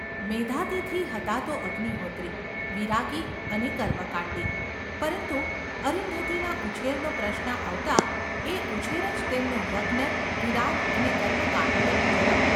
મેધાતિથિ હતા તો અગ્નિહોત્રિ, વિરાગી અને કર્મકાંડી, પરંતુ અરુંધતીના ઉછેરનો પ્રશ્ન આવતાં એ ઉછેર જ તેમનો યજ્ઞ, વિરાગ અને કર્મકાંડ બની જતાં.